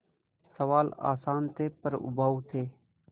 सवाल आसान थे पर उबाऊ थे